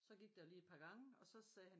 Så gik der lige et par gange og så sagde han